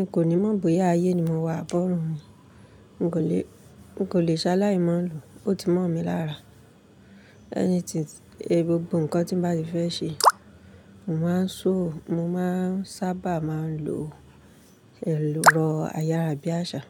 N kò ní mọ̀ bóyá ayé ni mo wà àbí bọ́rún. N kò lè, n kò lè ṣaláì mọ̀ ọ́ lòó, ó ti mọ̀ mi lára. Gbogbo nǹkan tí mo bá ti fẹ́ ṣe, mo máa ń ṣòó, mo máa ń sábà máa ń lo ẹ̀rọ ayárabíàṣá.